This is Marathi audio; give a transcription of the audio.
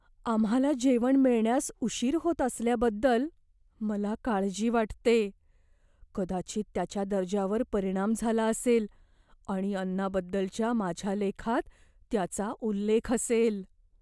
आम्हाला जेवण मिळण्यास उशीर होत असल्याबद्दल मला काळजी वाटते. कदाचित त्याच्या दर्जावर परिणाम झाला असेल आणि अन्नाबद्दलच्या माझ्या लेखात त्याचा उल्लेख असेल.